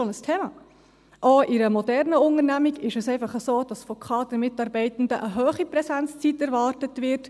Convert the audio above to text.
Auch in einer modernen Unternehmung ist es einfach so, dass von Kadermitarbeitenden eine hohe Präsenzzeit erwartet wird.